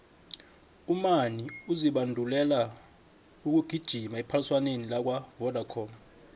umani uzibandulela ukugijima ephaliswaneni lakwavodacom